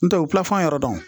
N tɛ u pan fɔ an yɛrɛ dɔn